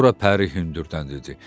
Sonra Pəri hündürdən dedi: